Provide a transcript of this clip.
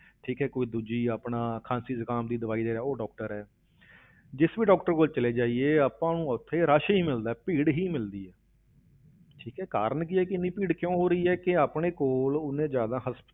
ਠੀਕ ਹੈ ਕੋਈ ਦੂਜੀ ਆਪਣਾ ਖ਼ਾਂਸੀ ਜੁਕਾਮ ਦੀ ਦਵਾਈ ਦੇ ਰਿਹਾ, ਉਹ doctor ਹੈ ਜਿਸ ਵੀ doctor ਕੋਲ ਚਲੇ ਜਾਈਏ ਆਪਾਂ ਨੂੰ ਉੱਥੇ rush ਹੀ ਮਿਲਦਾ ਹੈ, ਭੀੜ ਹੀ ਮਿਲਦੀ ਹੈ ਠੀਕ ਹੈ ਕਾਰਨ ਕੀ ਹੈ ਕਿ ਇੰਨੀ ਭੀੜ ਕਿਉਂ ਹੋ ਰਹੀ ਹੈ ਕਿ ਆਪਣੇ ਕੋਲ ਉਨੇ ਜ਼ਿਆਦਾ